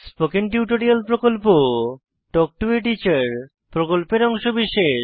spoken tutorial প্রকল্প talk to a teacher প্রকল্পের অংশবিশেষ